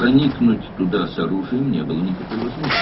Ora silahla girməyin heç bir yolu yox idi.